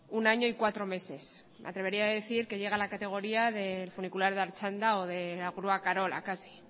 un año y cuatro meses me atrevería a decir que llega a la categoría del funicular de artxanda o de la grúa carola casi